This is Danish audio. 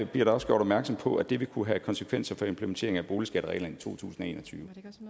bliver der også gjort opmærksom på at det vil kunne have konsekvenser for implementeringen af boligskattereglerne i to tusind og en og tyve